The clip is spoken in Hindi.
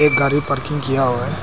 गाड़ी पार्किंग किया हुआ है।